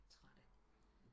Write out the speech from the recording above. Trætte